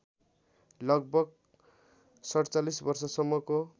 लगभग ४७ वर्षसम्मको